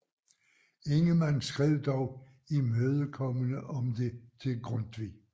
Ingemann skrev dog imødekommende om det til Grundtvig